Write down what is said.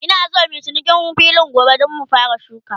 Ina San muyi cinikin filin gobe, Dan mu fara shuka